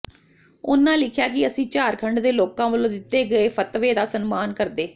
ਉਨ੍ਹਾਂ ਲਿਖਿਆ ਕਿ ਅਸੀਂ ਝਾਰਖੰਡ ਦੇ ਲੋਕਾਂ ਵੱਲੋਂ ਦਿੱਤੇ ਗਏ ਫਤਵੇ ਦਾ ਸਨਮਾਨ ਕਰਦੇ